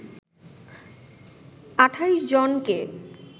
২৮ জনকে